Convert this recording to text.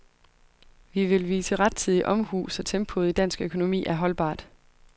Vi vil vise rettidig omhu, så tempoet i dansk økonomi er holdbart.